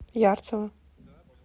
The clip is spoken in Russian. ярцево